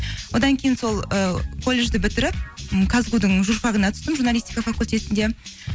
одан кейін сол і колледжді бітіріп м казгу дің журфагына түстіп журналситика факультетінде